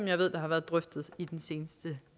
jeg ved har været drøftet i den seneste